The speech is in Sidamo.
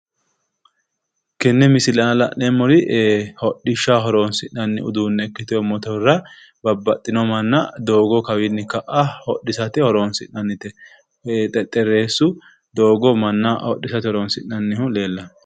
Tenne misile aana la'neemmori hodhishshaho horoonsi'nanni uduunne ikkitiwo motorera manna doogo kawinni ka"a hodhisate horoonsi'nannite. Xexxerreessu doogo manna hodhisate horoonsi'nannihu leellanno.